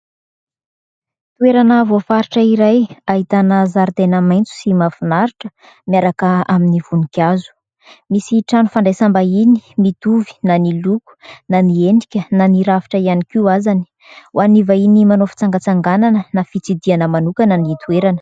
Toerana voafaritra iray ahitana zaridaina maitso sy mafinaritra miaraka amin'ny voninkazo. Misy trano fandraisam-bahiny mitovy na ny loko, na ny henika, na ny ravitra ihany koa azany. Ho an'ny vahiny manao fitsangatsanganana na fitsidiana manokana ny toerana.